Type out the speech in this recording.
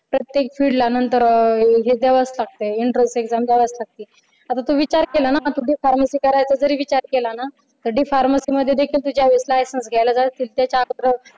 प्रत्येक field ला नंतर हे द्यावाच लागतय enternes exam द्यावाच लागतय आता तू विचार केला ना जरी D pharmacy करण्याचा विचार केला ना तर D pharmacy मध्ये तू ज्यावेळेस lisense घ्यायला जाशील त्यावेळेस